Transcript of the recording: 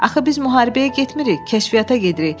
Axı biz müharibəyə getmirik, kəşfiyyata gedirik.